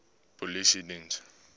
polisiediens